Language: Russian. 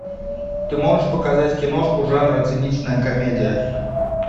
ты можешь показать киношку жанра циничная комедия